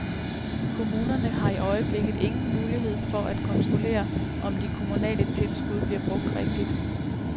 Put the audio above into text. Kommunerne har i øjeblikket ingen muligheder for at kontrollere, om de kommunale tilskud bliver brugt rigtigt.